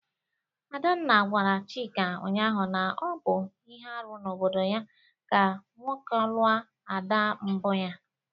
Adanna gwara Chika ụnyahụ na ọ bụ ihe arụ n'obodo ya ka nwoke lụọ ada mbụ ya.